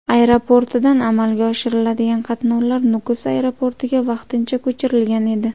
Aeroportidan amalga oshiriladigan qatnovlar Nukus aeroportiga vaqtincha ko‘chirilgan edi.